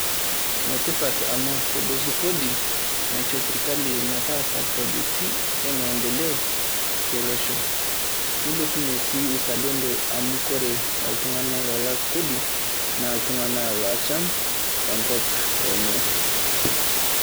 Neetipat amu kuhusu koodi nashoo sirkali metaasa projekitii e maendeleo te loosho. Neilebunye si uzalendo amu kore iltung'anak laalak koodi nee iltung'anak lochaam enkop enye.